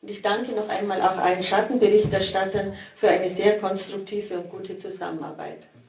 Ich danke noch einmal auch allen Schattenberichterstattern für eine sehr konstruktive und gute Zusammenarbeit.